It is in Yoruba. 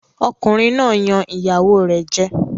Ọkùnrin náà yan ìyàwó rẹ̀ jẹ.